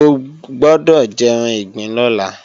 O gbọ́dọ̀ jẹran ìgbín lọ́la!